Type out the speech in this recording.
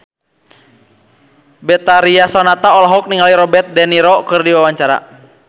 Betharia Sonata olohok ningali Robert de Niro keur diwawancara